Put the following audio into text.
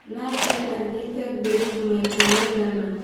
Nadia athĩite groove maĩta maigana